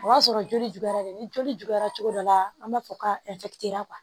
O y'a sɔrɔ joli juguyara dɛ ni joli juguyara cogo dɔ la an b'a fɔ ka